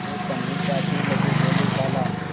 वे कन्नी काटने लगे बोलेखाला